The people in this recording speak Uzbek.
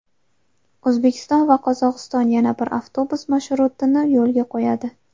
O‘zbekiston va Qozog‘iston yana bir avtobus marshrutini yo‘lga qo‘yadi.